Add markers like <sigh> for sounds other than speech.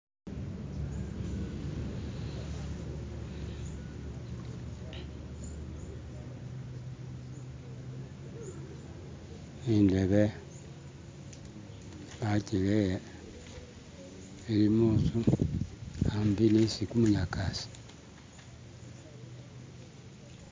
"<skip>" indebe bakirele ilimunzu ambi nisi kunyakaasi